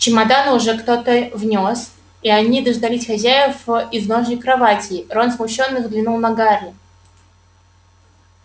чемоданы уже кто-то внёс и они дожидались хозяев в изножье кроватей рон смущённо взглянул на гарри